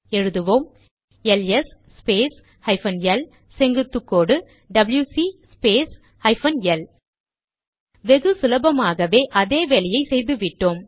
எழுதுவோம் L S space hyphen L செங்குத்துக்கோடு W C space hyphen L வெகு சுலபமாகவே அதே வேலையை செய்துவிட்டோம்